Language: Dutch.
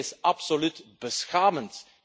Dit is absoluut beschamend.